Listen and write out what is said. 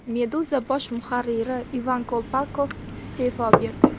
Meduza bosh muharriri Ivan Kolpakov iste’fo berdi.